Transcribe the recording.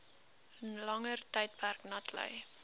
langer tydperk natlei